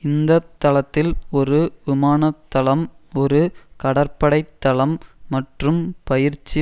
இந்தத்தளத்தில் ஒரு விமான தளம் ஒரு கடற்படை தளம் மற்றும் பயிற்சி